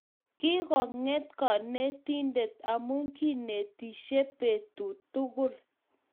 Kigakonget kanetindet amu kinetishe betut tugul